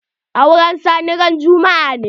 Auren Sani ran juma'a ne.